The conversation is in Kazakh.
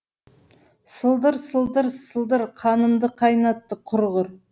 сылдыр сылдыр сылдыр қанымды қайнатты құрғыр